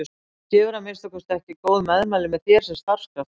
Þú gefur að minnsta kosti ekki góð meðmæli með þér sem starfskraftur